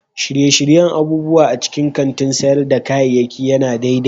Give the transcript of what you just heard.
Shirye-shiryen abubuwa a cikin kantin sayar da kayayyaki ya na daidai